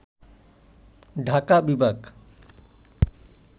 ঢাকা বিভাগ